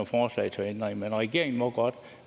forslag til ændringer men regeringen må godt